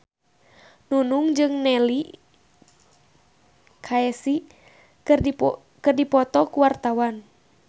Nunung jeung Neil Casey keur dipoto ku wartawan